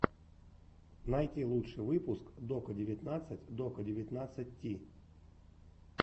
найти лучший выпуск дока девятнадцать дока девятнадцать ти